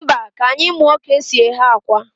Mba, ka anyị muọ ka e si eghe akwa.